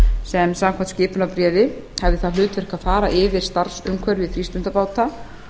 sem samkvæmt skipunarbréfi hafði það hlutverk að fara yfir starfsumhverfi frístundabáta